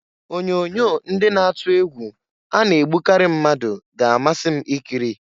Onyoonyo ndị na-atụ egwu a na-egbukari mmadụ ga-amasị m ikiri.